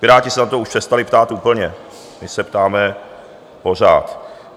Piráti se na to už přestali ptát úplně, my se ptáme pořád.